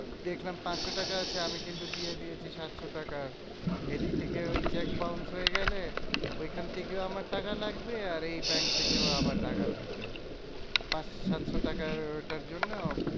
দেখলাম পাঁচশো টাকা আছে আমি কিন্তু দিয়ে দিয়েছি সাতশো টাকার। এদিক থেকে ওই cheque bounce হয়ে গেলে, ওইখান থেকেও আমার টাকা লাগবে আর এই ব্যাঙ্ক থেকেও আবার টাকা লাগবে। পাঁচ সাত শো টাকার ওটার জন্য